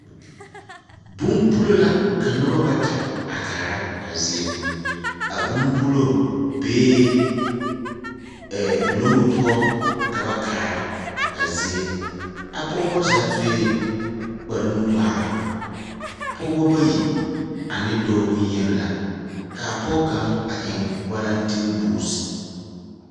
Bombulo la ka noba bata a kaara a zie. A bombulo bee ɛɛ loŋŋo poɔ ka ba kaara a zie. A pɔgebɔ zaa sue kparenu-ŋmaara. Pɔgebɔ bayi ane dɔɔ boŋyeni la. Kaa pɔge kaŋ a eŋ walantenbuuz.